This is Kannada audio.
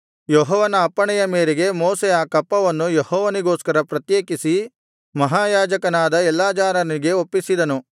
ಯೆಹೋವನ ಅಪ್ಪಣೆಯ ಮೇರೆಗೆ ಮೋಶೆ ಆ ಕಪ್ಪವನ್ನು ಯೆಹೋವನಿಗೋಸ್ಕರ ಪ್ರತ್ಯೇಕಿಸಿ ಮಹಾಯಾಜಕನಾದ ಎಲ್ಲಾಜಾರನಿಗೆ ಒಪ್ಪಿಸಿದನು